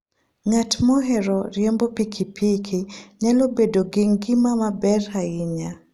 Ng'at mohero riembo pikipiki nyalo bedo gi ngima maber ahinya.